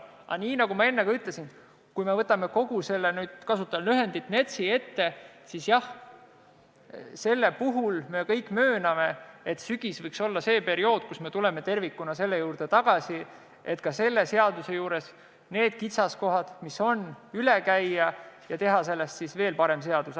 Aga nagu ma enne ütlesin, kui me võtame kogu selle NETS-i ette, siis jah, me kõik mööname, et sügis võiks olla see aeg, kui tuleme tervikuna selle seaduse juurde tagasi, et kõik need kitsaskohad, mis on, üle käia ja teha sellest veel parem seadus.